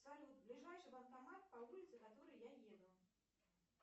салют ближайший банкомат по улице которой я еду